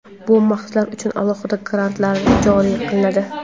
Bu maqsadlar uchun alohida grantlar joriy qilinadi.